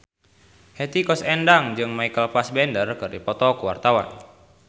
Hetty Koes Endang jeung Michael Fassbender keur dipoto ku wartawan